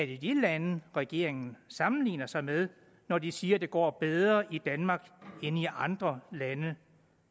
det de lande regeringen sammenligner sig med når de siger det går bedre i danmark end i andre lande